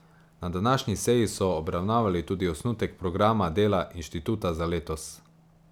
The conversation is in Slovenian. Na današnji seji so obravnavali tudi osnutek programa dela inštituta za letos.